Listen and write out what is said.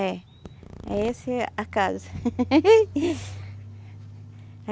É, é esse a casa.